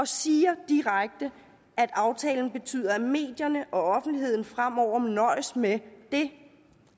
siger direkte at aftalen betyder at medierne og offentligheden fremover må nøjes med det